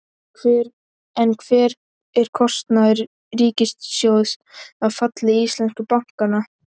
En hver er kostnaður ríkissjóðs af falli íslensku bankanna?